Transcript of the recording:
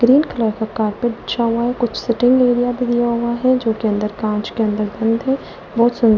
green colour का carpet बीछा हुआ है कुछ सिटिंग एरिया भी दिया हुआ है जो कि अंदर कांच के अंदर बंद है बहुत सुंदर --